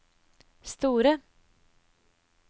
store